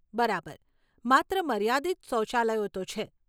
બરાબર, માત્ર માર્યાદિત શૌચાલયો તો છે.